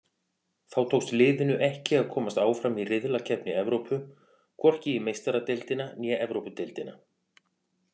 Þá tókst liðinu ekki að komast áfram í riðlakeppni Evrópu, hvorki í Meistaradeildina né Evrópudeildina.